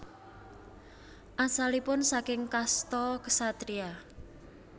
Asalipun saking kasta Ksatria